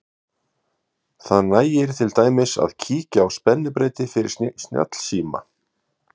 það nægir til dæmis að kíkja á spennubreyti fyrir snjallsíma